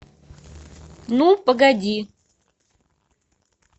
ну погоди